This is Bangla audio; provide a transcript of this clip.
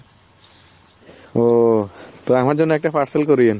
ও তো আমার জন্য একটা parcel করিয়েন।